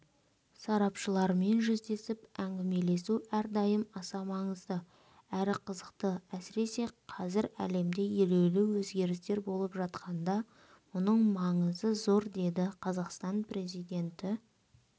сарапшылармен жүздесіп әңгімелесу әрдайым аса маңызды әрі қызықты әсіресе қазір әлемде елеулі өзгерістер болып жатқанда мұның маңызы зор деді қазақстан президенті